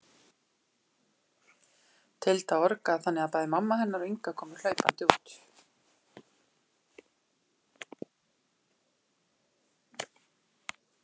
Tilda orgaði þannig að bæði mamma hennar og Inga komu hlaupandi út.